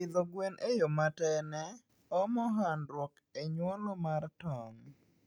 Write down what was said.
Pidho gwen e yoo matene omo handruok e nyuolo mar tong